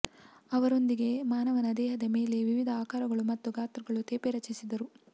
ಅವರೊಂದಿಗೆ ಮಾನವನ ದೇಹದ ಮೇಲೆ ವಿವಿಧ ಆಕಾರಗಳು ಮತ್ತು ಗಾತ್ರಗಳ ತೇಪೆ ರಚಿಸಿದರು